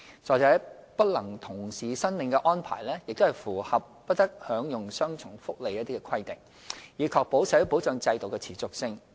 再者，不能同時申領的安排亦符合"不得享用雙重福利"的規定，以確保社會保障制度的持續性。